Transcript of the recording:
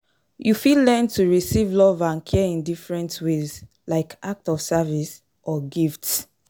You fit learn to receive love and care in different ways, like acts of service or gifts.